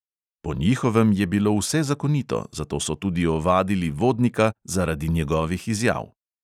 Po njihovem je bilo vse zakonito, zato so tudi ovadili vodnika zaradi njegovih izjav.